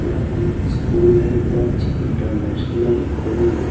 एक स्कूल है Lakshya international academy.